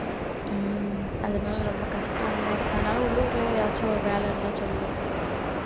உம் அதனால ரொம்ப கஷ்டம் தான் அதனால உள்ளூர்ல ஏதாச்சும் வேலை இருந்தா சொல்லு